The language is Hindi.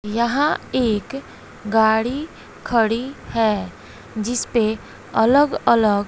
यहां एक गाड़ी खड़ी है जिसपे अलग अलग--